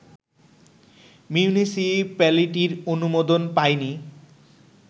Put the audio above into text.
মিউনিসিপ্যালিটির অনুমোদন পায়নি